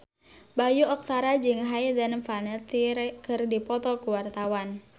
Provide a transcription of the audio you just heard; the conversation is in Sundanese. Bayu Octara jeung Hayden Panettiere keur dipoto ku wartawan